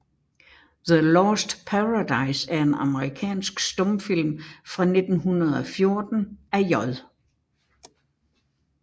The Lost Paradise er en amerikansk stumfilm fra 1914 af J